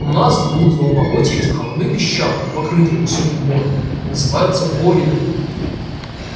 у нас в блудовом болоте эти холмы песчаные покрытые высоким бором называются боринами